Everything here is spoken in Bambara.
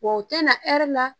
Wa u tɛna la